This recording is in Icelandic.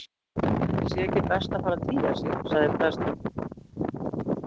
Ætli sé ekki best að fara að tygja sig- sagði prest